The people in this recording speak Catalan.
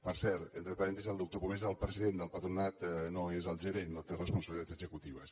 per cert entre parèntesis el doctor pomés és el president del patronat no n’és el gerent no té responsabilitats executives